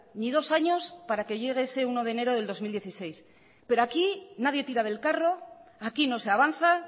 ni dos años para que llegue ese uno de enero del dos mil dieciséis pero aquí nadie tira del carro aquí no se avanza